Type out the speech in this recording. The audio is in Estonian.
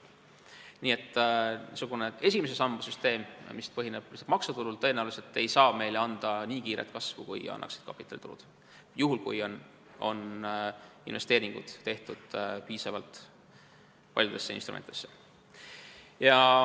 Nii et niisugune esimese samba süsteem, mis põhineb lihtsalt maksutulul, ei saa meile tõenäoliselt anda nii kiiret kasvu, kui annaks kapitalitulu, juhul kui investeeringud on tehtud piisavalt paljudesse instrumentidesse.